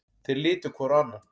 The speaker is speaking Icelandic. Þeir litu hvor á annan.